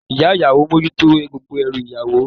Ìyá ìyàwó mójútó gbogbo ẹrù ìyàwó.